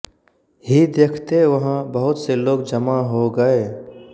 ही देखते वहां बहुत से लोग जमा हो गए